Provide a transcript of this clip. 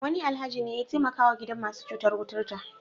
Wani Alhaji ne ya taimakawa gidan masu cutar kuturta.